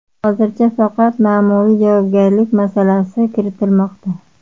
Hozircha faqat ma’muriy javobgarlik masalasi kiritilmoqda.